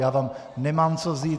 Já vám nemám co vzít.